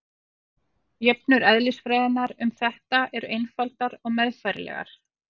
Jöfnur eðlisfræðinnar um þetta eru einfaldar og meðfærilegar.